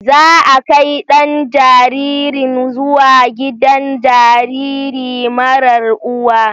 Za a kai ɗan jaririn zuwa gidan jariri marar uwa.